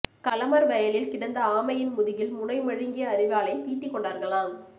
களமர் வயலில் கிடந்தஆமையின் முதுகில் முனை மழுங்கிய அரிவாளைத் தீட்டிக்கொண்டார்களாம்